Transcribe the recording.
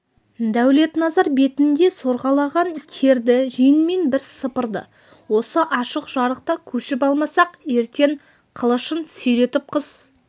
дәулетназар бетінде сорғалаған терді жеңмен бір сыпырды осы ашық жарықта көшіп алмасақ ертең қылышын сүйретіп қыс